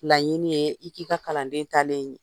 Laɲini ye i k'i ka kalanden taalen ye.